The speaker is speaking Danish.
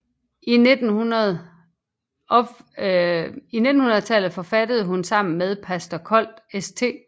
I 1900 forfattede hun sammen med pastor Kold St